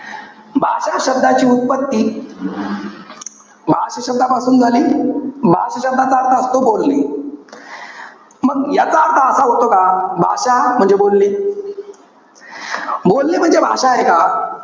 भाषा शब्दाची उत्पत्ती भाष शब्दांपासुन झाली. भाष शब्दाचा अर्थ असतो बोलणे. मग याचा अर्थ असा होतो का? भाषा म्हणजे बोलणे. बोलणे म्हणजे भाषा आहे का?